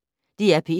DR P1